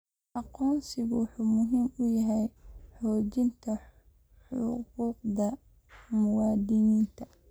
Aqoonsigu wuxuu muhiim u yahay xoojinta xuquuqda muwaadiniinta.